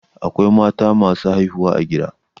Akwai mata masu haihuwa a gida.